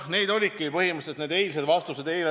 Need olidki põhimõtteliselt eilsed vastused.